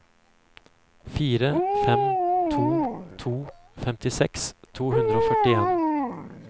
fire fem to to femtiseks to hundre og førtien